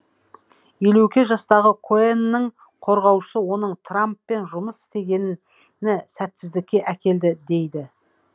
елу екі жастағы коэнның қорғаушысы оның трамппен жұмыс істегені сәтсіздікке әкелді дейді